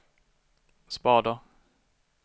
spader